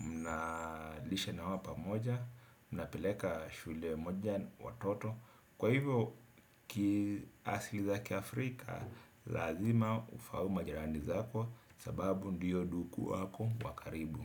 mnalisha na hawa pamoja, mnapeleka shule moja watoto. Kwa hivyo, kiasili za kia afrika, lazima ufahamu majirani zako, sababu ndiyo ndugu wako wakaribu.